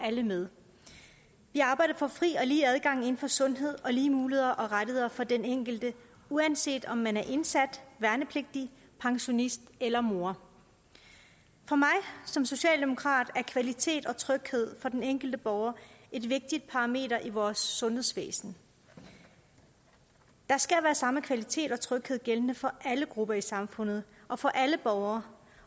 alle med vi arbejder for fri og lige adgang inden for sundhed og lige muligheder og rettigheder for den enkelte uanset om man er indsat værnepligtig pensionist eller mor for mig som socialdemokrat er kvalitet og tryghed for den enkelte borger et vigtigt parameter i vores sundhedsvæsen der skal være samme kvalitet og tryghed gældende for alle grupper i samfundet og for alle borgere